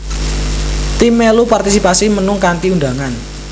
Tim mèlu partisipasi mnung kanthi undhangan